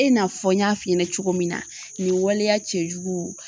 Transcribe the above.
E n'a fɔ n y'a f'i ɲɛna cogo min na nin waleya cɛjuguw